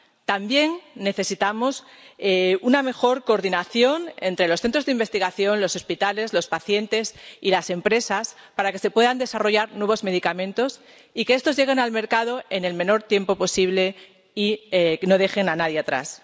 También necesitamos una mejor coordinación entre los centros de investigación, los hospitales, los pacientes y las empresas, para que se puedan desarrollar nuevos medicamentos, y que estos lleguen al mercado en el menor tiempo posible y no dejen a nadie atrás.